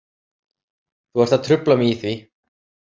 Þú ert að trufla mig í því.